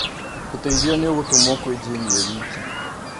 Ũteithio nĩ ũgũtũmũo kwĩ Jane e wiki